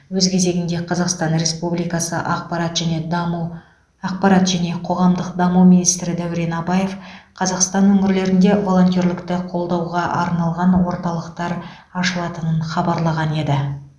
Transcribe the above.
өз кезегінде қазақстан республикасы ақпарат және даму ақпарат және қоғамдық даму министрі дәурен абаев қазақстан өңірлерінде волонтерлікті қолдауға арналған орталықтар ашылатынын хабарлаған еді